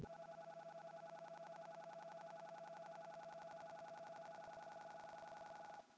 Sumar og sól.